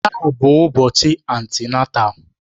Taa bụ ụbọchị antịnátál